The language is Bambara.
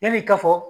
Yani ka fɔ